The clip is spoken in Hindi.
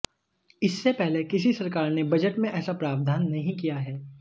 इससे पहले किसी सरकार ने बजट में ऐसा प्रावधान नहीं किया है